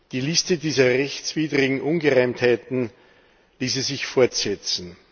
Die Liste dieser rechtswidrigen Ungereimtheiten ließe sich fortsetzen.